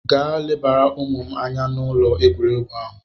Gaa lebara ụmụ m anya n'ụlọ egwuregwu ahụ!